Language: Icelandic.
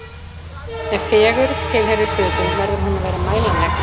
Ef fegurð tilheyrir hlutum, verður hún að vera mælanleg.